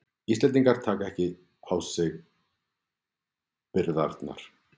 Íslendingar taki ekki á sig byrðarnar